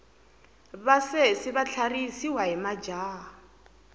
vasesi va tlharihisiwa hi majaha